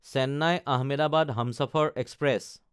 Chennai-Ahmedabad Humsafar express